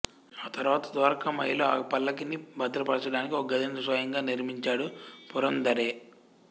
ఆ తర్వాత ద్వారకామాయిలో ఆ పల్లకీని భద్రపరచడానికి ఒక గదిని స్వయంగా నిర్మించాడు పురందరే